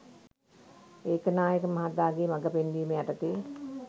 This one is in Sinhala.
ඒකනායක මහතාගේ මග පෙන්වීම යටතේ